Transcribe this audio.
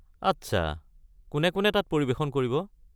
আচ্ছা, কোনে কোনে তাত পৰিৱেশন কৰিব?